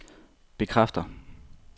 bekræfter